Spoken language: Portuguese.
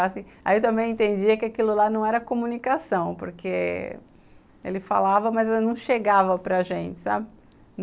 Aí eu também entendi que aquilo lá não era comunicação, porque ele falava, mas não chegava para gente, sabe?